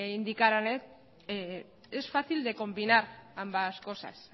indicaran es fácil de combinar ambas cosas